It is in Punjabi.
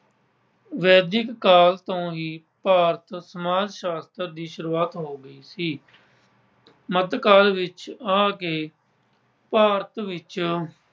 ਵੈਦਿਕ ਕਾਲ ਤੋਂ ਹੀ ਭਾਰਤ ਸਮਾਜ ਸ਼ਾਸਤਰ ਦੀ ਸ਼ੁਰੂਆਤ ਹੋ ਗਈ ਸੀ। ਮੱਧ ਕਾਲ ਵਿੱਚ ਆ ਕੇੇ ਭਾਰਤ ਵਿੱਚ